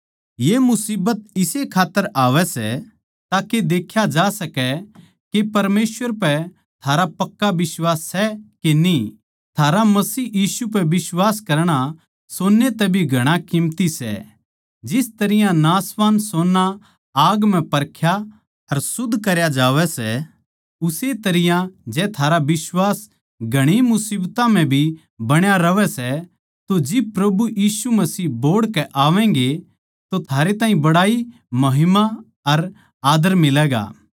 ये मुसीबत इस्से खात्तर आवै सै ताके देख्या जा सकै के परमेसवर पै थारा पक्का बिश्वास सै के न्ही थारा मसीह यीशु पै बिश्वास करणा सोन्ने तै भी घणा कीमती सै जिस तरियां नाशवान सोन्ना आग म्ह परख्या अर शुध्द करया जावै सै उस्से तरियां जै थारा बिश्वास घणी मुसीबतां म्ह भी बण्या रहवै सै तो जिब प्रभु यीशु मसीह बोहड़ के आवैगें तो थारे ताहीं बड़ाई महिमा अर आदर मिलैगा